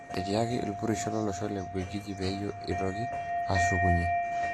Etiaki ilpurisho lolosho le Ubelgiji peyie itoki ashukunyie